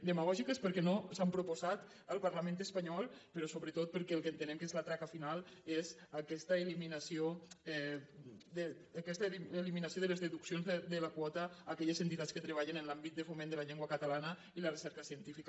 demagògiques perquè no s’han proposat al parlament espanyol però sobretot perquè el que entenem que és la traca final és aquesta eliminació de les deduccions de la quota a aquelles entitats que treballen en l’àmbit de foment de la llengua catalana i la recerca científica